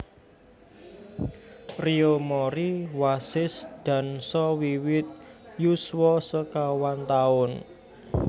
Riyo Mori wasis dansa wiwit yuswa sekawan taun